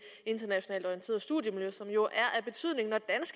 internationalt orienterede studiemiljø som jo